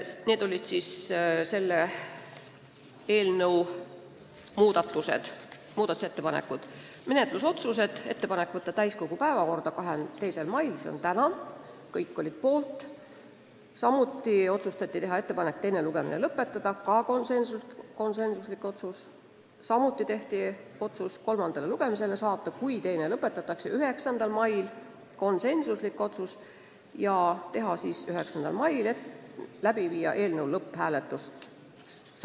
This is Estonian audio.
Menetlusotsused olid järgmised: teha ettepanek võtta eelnõu täiskogu päevakorda 2. maiks, teha ettepanek teine lugemine lõpetada ja kui teine lugemine lõpetatakse, saata eelnõu kolmandale lugemisele 9. maiks ning läbi viia ka lõpphääletus.